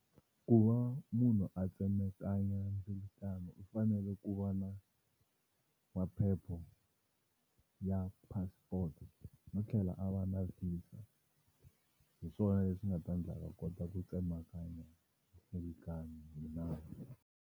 Ku va munhu a tsemekanya ndzilakano u fanele ku va na maphepho ya passport no tlhela a va na VISA hi swona leswi nga ta ndla a kota ku tsemakanya mindzilikano hi nawu.